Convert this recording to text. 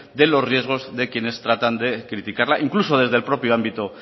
de los riesgo de quienes tratan de criticarla incluso desde el propio ámbito